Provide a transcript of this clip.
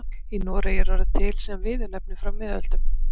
Í Noregi er orðið til sem viðurnefni frá miðöldum.